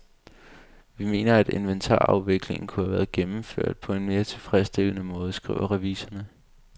Vi mener, at inventarafviklingen kunne have været gennemført på en mere tilfredsstillende måde, skriver revisorerne.